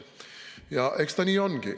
Ja eks ta nii ongi.